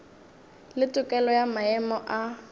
le tokelo ya maemo a